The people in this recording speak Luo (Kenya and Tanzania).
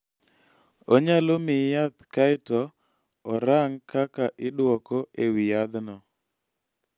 Onyalo miyi yath kae to orang� kaka idwoko e wi yathno.